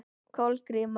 Kolgríma